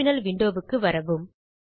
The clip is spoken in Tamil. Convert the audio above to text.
டெர்மினல் விண்டோ க்கு வரவும்